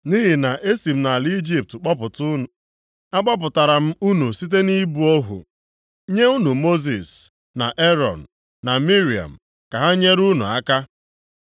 Nʼihi na e si m nʼala Ijipt kpọpụta unu. Agbapụtara m unu site na ịbụ ohu, nye unu Mosis na Erọn na Miriam ka ha nyere unu aka.